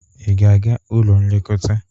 Ị ga-aga ụlọ nlekọta?